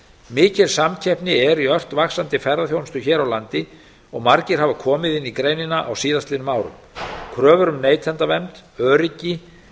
mikil samkeppni er í ört vaxandi ferðaþjónustu hér á landi og margir hafa komið inn í greinina á síðustu árum kröfur um neytendavernd öryggi